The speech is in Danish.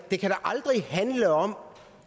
aldrig handle om